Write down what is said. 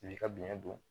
I b'i ka biyɛn don